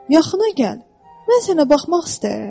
Yaxına gəl, mən sənə baxmaq istəyirəm.